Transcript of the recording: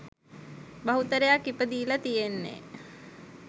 බහුතරයක් ඉපදීලා තියෙන්නේ